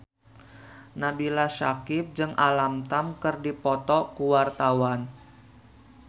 Nabila Syakieb jeung Alam Tam keur dipoto ku wartawan